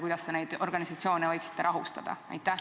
Kuidas te neid organisatsioone võiksite rahustada?